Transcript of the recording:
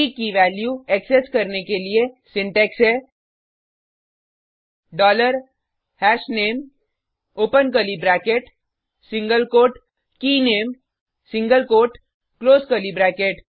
की की value access करने के लिए सिंटेक्स है dollar hashname open curly bracket single quote keyname single quote close curly bracket